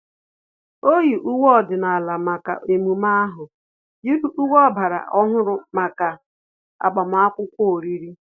O yi uwe ọdịnala maka emume ahu, yiri uwe ọgbara ọhụrụ maka agbamakwụkwọ oriri